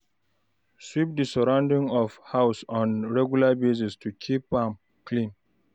Sweep di surrounding of house on a regular basis to keep am clean